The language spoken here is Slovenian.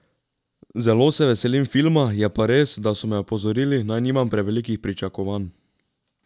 Zelo se veselim filma, je pa res, da so me opozorili, naj nimam prevelikih pričakovanj.